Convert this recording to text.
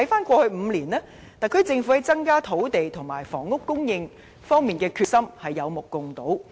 過去5年來，特區政府在增加土地和房屋供應方面的決心有目共睹。